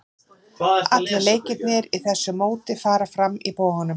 Allir leikirnir í þessu móti fara fram í Boganum.